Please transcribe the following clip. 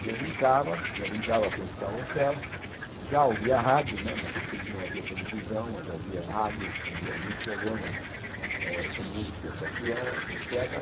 E eu brincava, eu brincava com esse carrossel, já ouvia rádio né, naquele tempo não havia televisão, mas havia rádio, havia alguns programas eh com música para criança, et cétera.